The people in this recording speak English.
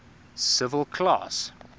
civil class